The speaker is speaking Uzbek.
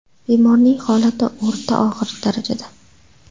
Bemorning holati o‘rta og‘ir darajada.